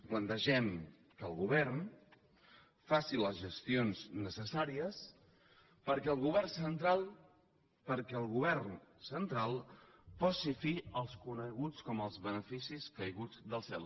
plantegem que el govern faci les gestions necessàries perquè el govern central posi fi als coneguts com a beneficis caiguts del cel